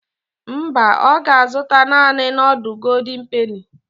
Mba, ọ ga-azụta naani nudul goldin peni.